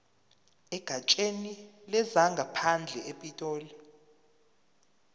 egatsheni lezangaphandle epitoli